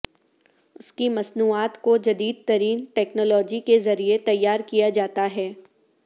اس کی مصنوعات کو جدید ترین ٹیکنالوجی کے ذریعے تیار کیا جاتا ہے